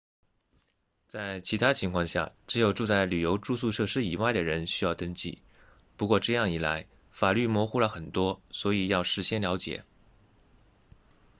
在其他情况下只有住在旅游住宿设施以外的人需要登记不过这样一来法律模糊了很多所以要事先了解